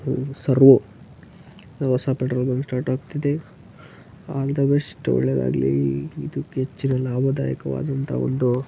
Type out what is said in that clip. Servo ಹೊಸ petrol bunk start ಆಗ್ತಿದೆ. All the best . ಒಳ್ಳೇದಾಗ್ಲಿ. ಇದುಕ್ಕೆ ಹೆಚ್ಚಿನ ಲಾಭದಾಯಕವಾದಂತ ಒಂದು --